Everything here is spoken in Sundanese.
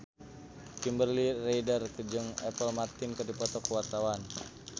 Kimberly Ryder jeung Apple Martin keur dipoto ku wartawan